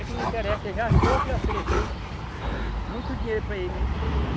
É que não interessa, ele já achou que ofereceu muito dinheiro para ele, mas ele disse que não vai.